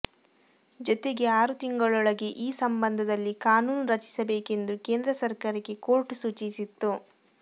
ಜೊತೆಗೆ ಆರು ತಿಂಗಳೊಳಗೆ ಈ ಸಂಬಂಧದಲ್ಲಿ ಕಾನೂನು ರಚಿಸಬೇಕೆಂದು ಕೇಂದ್ರ ಸರ್ಕಾರಕ್ಕೆ ಕೋರ್ಟ್ ಸೂಚಿಸಿತ್ತು